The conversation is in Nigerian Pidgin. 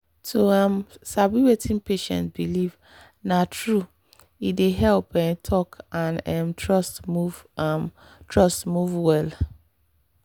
to um sabi wetin patient believe—na true—e dey help um talk and um trust move um trust move well.